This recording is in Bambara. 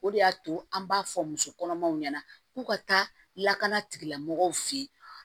O de y'a to an b'a fɔ muso kɔnɔmaw ɲɛna k'u ka taa lakana tigilamɔgɔw fɛ yen